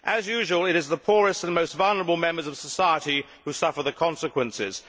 As usual, it is the poorest and most vulnerable members of society who suffer the consequences.